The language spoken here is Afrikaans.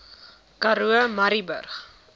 karoo murrayburg